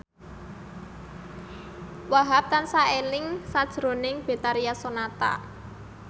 Wahhab tansah eling sakjroning Betharia Sonata